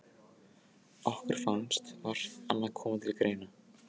Okkur fannst vart annað koma til greina.